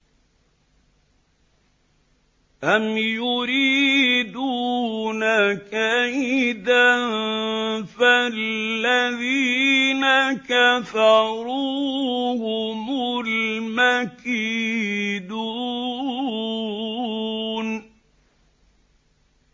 أَمْ يُرِيدُونَ كَيْدًا ۖ فَالَّذِينَ كَفَرُوا هُمُ الْمَكِيدُونَ